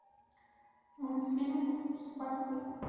мультфильм спанч боб